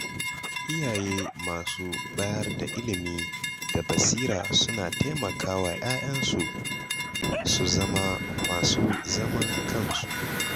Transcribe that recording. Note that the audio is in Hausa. Iyaye masu bayar da ilimi da basira suna taimakawa ‘ya’yansu su zama masu zaman kansu.